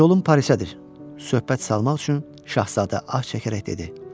Yolum Parisədir, söhbət salmaq üçün şahzadə ah çəkərək dedi.